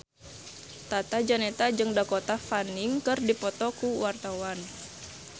Tata Janeta jeung Dakota Fanning keur dipoto ku wartawan